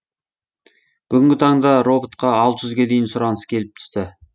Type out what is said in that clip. бүгінгі таңда роботқа алты жүзге дейін сұраныс келіп түсті